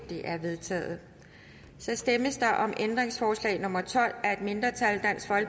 er vedtaget så stemmes der om ændringsforslag nummer tolv af et mindretal